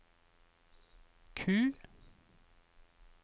Q